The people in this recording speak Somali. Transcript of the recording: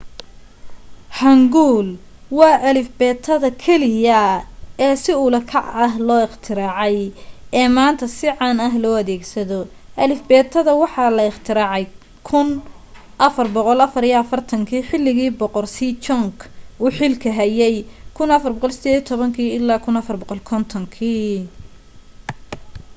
hanguel waa alifbeetada keliya ee si ula kac ah loo iqtiraacay ee maanta si caana loo adeegsado. alifbeetada waxa la ikhtiraacay 1444 xilligii boqor sejong uu xilka hayay 1418-1450